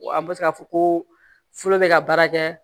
Wa an bɛ se ka fɔ ko fɔlɔ bɛ ka baara kɛ